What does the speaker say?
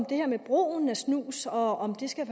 det her med brugen af snus og om det skal